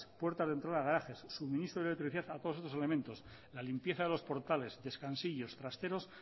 puertas de entrada a garajes suministro de electricidad a todos estos elementos la limpieza de los portales descansillos trasteros